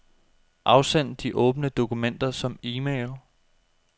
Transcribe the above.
Afsend de åbne dokumenter som e-mail.